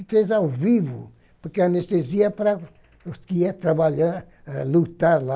E fez ao vivo, porque anestesia é para os que ia trabalhar, lutar lá.